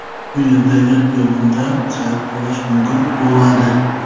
Bu yerdagi xiyobonda sayr qilish mumkin bo‘ladi.